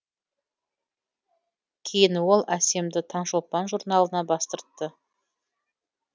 кейін ол әссемді таңшолпан журналына бастыртты